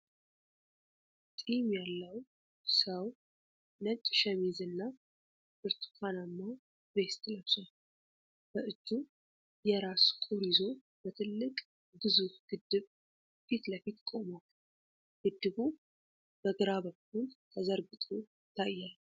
ጢም ያለው ሰው ነጭ ሸሚዝና ብርቱካናማ ቬስት ለብሷል። በእጁ የራስ ቁር ይዞ በትልቅ ግዙፍ ግድብ ፊት ለፊት ቆሟል። ግድቡ በግራ በኩል ተዘርግቶ ይታያል።